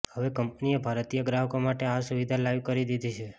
હવે કંપનીએ ભારતીય ગ્રાહકો માટે આ સુવિધા લાઈવ કરી દિધી છે